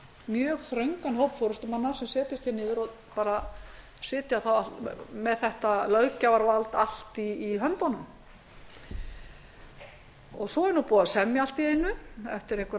mjög þröngan hóp forustumanna sem setjast niður og sitja með þetta löggjafarvald allt í höndunum svo er búið að semja allt í einu eftir einhverja